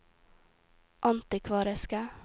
antikvariske